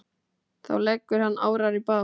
Þá leggur hann árar í bát.